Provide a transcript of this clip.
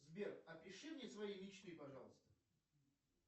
сбер опиши мне свои мечты пожалуйста